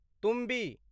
तुम्बी